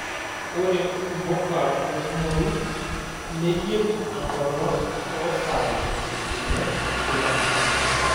Ore mpuka tenkumoi neyieu enkolong' too sai ile kila endama.